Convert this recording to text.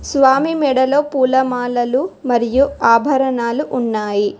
స్వామి మెడలో పూలమాలలు మరియు ఆభరణాలు ఉన్నాయి.